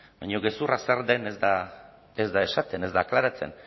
baina gezurra zer den ez da esaten ez da aklaratzen